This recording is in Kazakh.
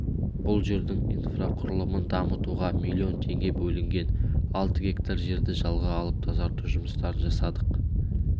бұл жердің инфрақұрылымын дамытуға млн теңге бөлінген алты гектар жерді жалға алып тазарту жұмыстарын жасадық